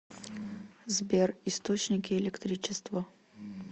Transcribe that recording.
сбер источники электричество